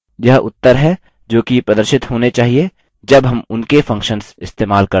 यह उत्तर हैं जो कि प्रदर्शित होने चाहिए जब हम उनके functions इस्तेमाल करते हैं